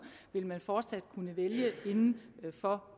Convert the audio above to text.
vil man fortsat kunne vælge inden for